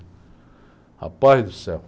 Rapaz do céu.